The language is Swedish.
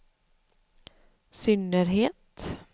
synnerhet